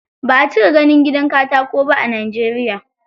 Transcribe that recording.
Ba a cika ganin gidan katako ba a Najeriya.